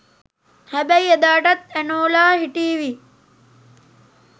හැබැයි එදාටත් ඇනෝලා හිටීවි